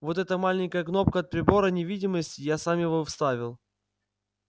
вот эта маленькая кнопка от прибора невидимости я сам его вставил